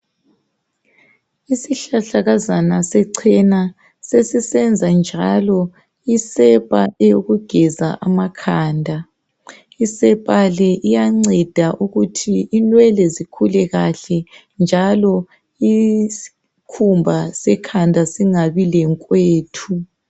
Isihlahlakazana sechena sesisenza njalo isepa eyokugeza amakhanda. Isepa le iyanceda ukuthi inwele zikhule kahle njalo isikhumba sekhanda singabi lenkwethu.